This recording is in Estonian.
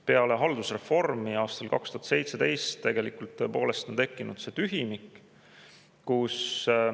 Pärast haldusreformi aastal 2017 on tegelikult tõepoolest on tekkinud tühimik.